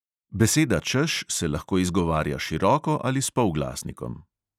Beseda češ se lahko izgovarja široko ali s polglasnikom.